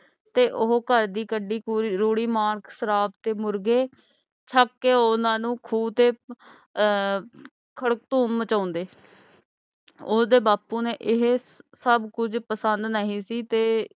ਤੇ ਉਹ ਘਰ ਦੀ ਕਢੀ ਰੂੜੀ mark ਸ਼ਰਾਬ ਤੇ ਮੁਰਗੇ ਛਕ ਕੇ ਉਹਨਾਂ ਨੂੰ ਖ਼ੂ ਤੇ ਅਹ ਖਰਧੂਮ ਮਚਾਂਦੇ ਓਹਦੇ ਬਾਪੂ ਨੂੰ ਇਹ ਸਬ ਕੁਛ ਪਸੰਦ ਨਹੀਂ ਸੀ ਤੇ